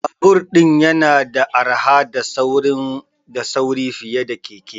Babur din yana da arha da sauri fiye da keke.